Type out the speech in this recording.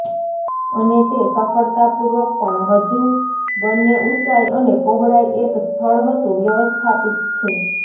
અને તે સફળતાપૂર્વક પણ હજુ બંને ઊંચાઈ અને પહોળાઈ એક સ્થળ હતું વ્યવસ્થાપિત છે